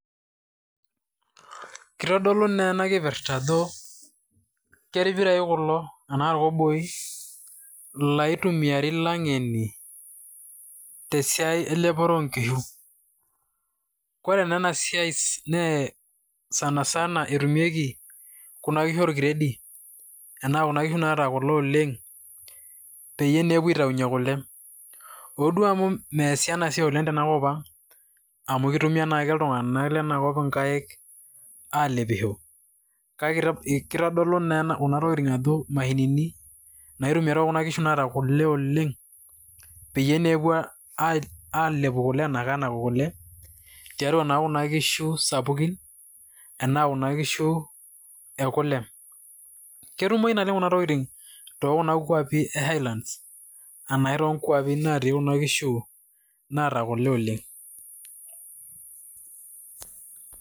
kitodolu naa ena kipirrta ajo kerpirai kulo anaa irkoboi laitumiari ilang'eni tesiai elepore onkishu kore naa ena siai nee sanasana etumieki kuna kishu orkiredi enaa kuna kishu naata kule oleng peyie neepuo aitaunyie kule oduo amu meesi ena siai oleng tenakop ang amu kitumia naake iltung'anak lenakop inkaik alepisho kake kitodolu naa kuna tokitin ajo imashinini naitumiae tookuna kishu naata kule oleng peyie neepuo alepu kule anakanaku kule tiatua naa kuna kishu sapukin anaa kuna kishu ekule ketumoi naleng kuna tokitin tokuna kuapi e highlands enae tonkuapi natii kuna kishu naata kule oleng.